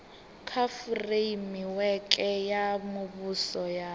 kha fureimiweke ya muvhuso ya